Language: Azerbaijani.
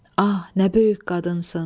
Ah, nə böyük qadınsan.